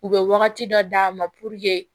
U bɛ wagati dɔ d'a ma